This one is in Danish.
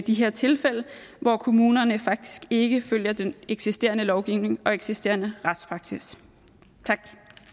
de her tilfælde hvor kommunerne faktisk ikke følger den eksisterende lovgivning og eksisterende retspraksis tak